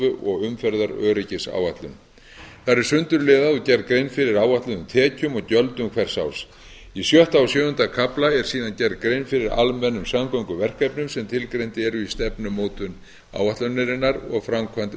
og umferðaröryggisáætlun þar er sundurliðað og gert grein fyrir áætluðum tekjum og gjöldum hvers árs í sjötta og sjöunda kafla er síðan gerð grein fyrir almennum samgönguverkefnum sem tilgreind eru í stefnumótun áætlunarinnar og framkvæmd